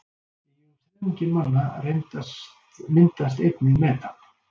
Í um þriðjungi manna myndast einnig metan.